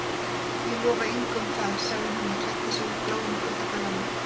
Ég lofa engu um það- sagði hún og klæddi sig úr bláum kuldagallanum.